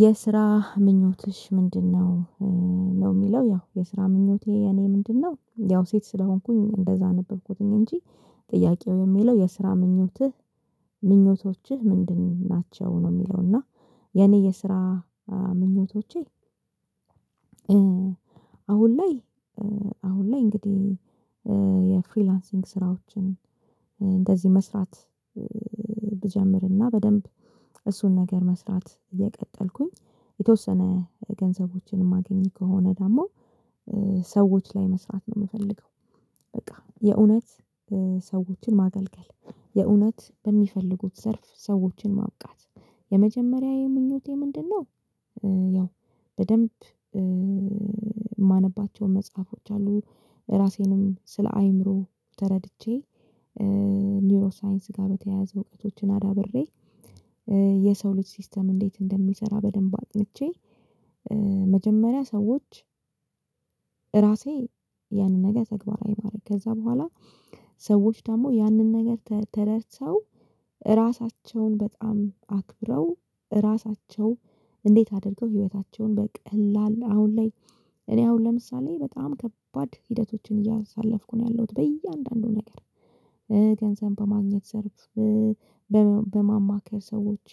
የስራ ምኞትሽ ምንድነው? ነው የሚለው ያው የስራ ምኞቴ እኔ ምንድነው ያው ሴት ስለሆንኩኝ እንደዛ ነበርኩኝ እንጂ። ጥያቄው የሚለው የስራ ምኞትህ ምኞቶችህ ምንድን ናቸው? ነው የሚለው እና የኔ የስራ ምኞቶቼ። አሁን ላይ አሁን ላይ እንግዲህ የፍሪላንሲንግ ስራዎችን እንደዚህ መስራት። ብጀምርና በደንብ እሱን ነገር መስራት እየቀጠልኩኝ የተወሰነ ገንዘቦችን ማገኝ ከሆነ ደግሞ ሰዎች ላይ መስራት ነው የምፈልገው። በቃ የእውነት ሰዎችን ማገልገል የእውነት በሚፈልጉት ዘርፍ ሰዎችን ማብቃት። የመጀመሪያ የምኞቴ ምንድነው? ያው በደንብ ማነባቸው መጽሐፎች አሉ። ራሴንም ስለ አይምሮ ተረድቼ ኒውሮ ሳይንስ ጋር በተያያዘ እውቀቶችን አዳብሬ። የሰው ልጅ ሲስተም እንዴት እንደሚሰራ በደንብ አጥንቼ። መጀመሪያ ሰዎች እራሴ ያንን ነገር ተግባራዊ ማድረግ ከዛ በኋላ። ሰዎች ደግሞ ያንን ነገር ተረድተው እራሳቸውን በጣም አክብረው ራሳቸው እንዴት አድርገው ህይወታቸውን በቀላል አሁን ላይ። እኔ አሁን ለምሳሌ በጣም ከባድ ሂደቶችን እያሳለፍኩ ነው ያለሁት በእያንዳንዱ ነገር። ገንዘብ በማግኘት ሰርተህ በማማከር ሰዎች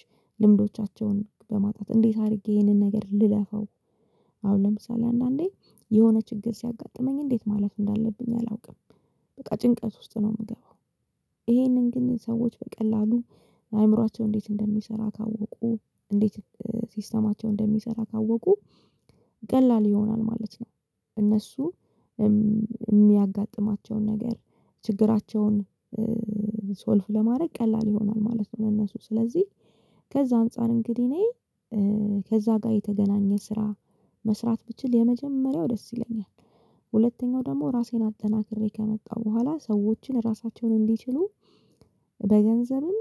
ልምዶቻቸውን በማጣት እንዴት አድርጌ ይሄንን ነገር ልለፋው። አሁን ለምሳሌ አንዳንዴ የሆነ ችግር ሲያጋጥመኝ እንዴት ማለት እንዳለብኝ አላውቅም። በቃ ጭንቀት ውስጥ ነው የምገባው። ይሄንን ግን ሰዎች በቀላሉ አእምሮአቸው እንዴት እንደሚሰራ ካወቁ እንዴት ሲስተማቸው እንደሚሰራ ካወቁ ቀላል ይሆናል ማለት ነው። እነሱ የሚያጋጥማቸውን ነገር ችግራቸውን ሶልቭ ለማድረግ ቀላል ይሆናል ማለት ነው። እነሱ ስለዚህ ከዛ አንፃር እንግዲህ እኔ ከዛ ጋር የተገናኘ ስራ መስራት ብችል የመጀመሪያው ደስ ይለኛል። ሁለተኛው ደግሞ ራሴን አጠናክሬ ከመጣሁ በኋላ ሰዎችን ራሳቸውን እንዲችሉ በገንዘብም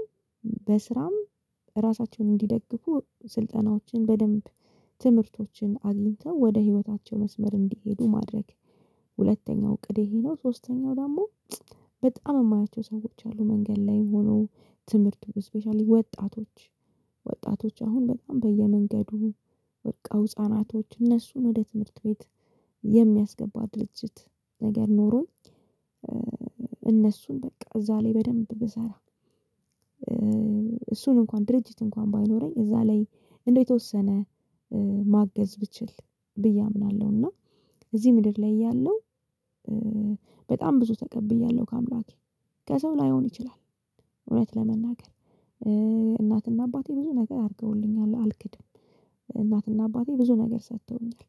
በስራም ራሳቸውን እንዲደግፉ ስልጠናዎችን በደንብ ትምህርቶችን አግኝተው ወደ ህይወታቸው መስመር እንዲሄዱ ማድረግ። ሁለተኛው እቅድ የሄደው ሶስተኛው ደግሞ በጣም የማያቸው ሰዎች አሉ መንገድ ላይም ሆኖ ትምህርቱ ስፔሻሊ ወጣቶች ወጣቶች አሁን በጣም በየመንገዱ ወድቀው ህፃናቶች እነሱን ወደ ትምህርት ቤት የሚያስገባ ድርጅት ነገር ኖሮኝ። እነሱን በቃ እዛ ላይ በደንብ ብሰራ። እሱን እንኳን ድርጅት እንኳን ባይኖረኝ እዛ ላይ እንደተወሰነ ማገዝ ብችል ብዬ አምናለሁ። እና እዚህ ምድር ላይ እያለሁ። በጣም ብዙ ተቀብያለሁ ካምላኬ ከሰው ላይሆን ይችላል። እውነት ለመናገር እናትና አባቴ ብዙ ነገር አድርገውልኛል አልክድም። እናትና አባቴ ብዙ ነገር ሰጥቶኛል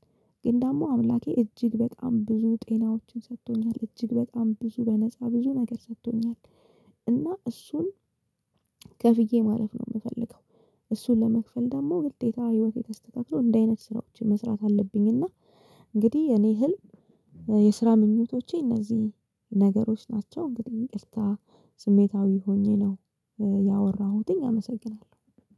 ግን ደግሞ አምላኬ እጅግ በጣም ብዙ ጤናዎችን ሰጥቶኛል እጅግ በጣም ብዙ በነፃ ብዙ ነገር ሰጥቶኛል። እና እሱን ከፍዬ ማለፍ ነው የምፈልገው። እሱን ለመክፈል ደግሞ ግዴታ ህይወት የተስተካከለው እንደ አይነት ስራዎች መስራት አለብኝና። እንግዲህ የኔ ህልም የስራ ምኞቶቼ እነዚህ ነገሮች ናቸው። እንግዲህ ይቅርታ ስሜታዊ ሆኜ ነው ያወራሁትኝ አመሰግናለሁ